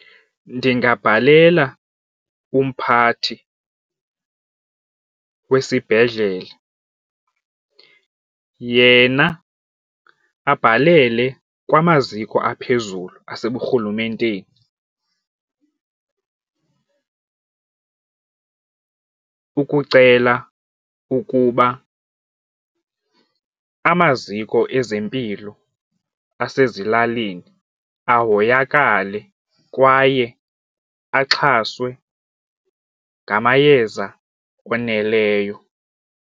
Ndingabhalela umphathi wesibhedlele, yena abhalele kwamaziko aphezulu aseburhulumenteni ukucela ukuba amaziko ezempilo asezilalini ahoyakale kwaye axhaswe ngamayeza oneleyo.